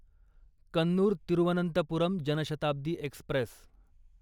Kannur Thiruvananthapuram Jan Shatabdi Express